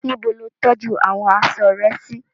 Níbo lo tọ́jú àwọn aṣọ rẹ sí?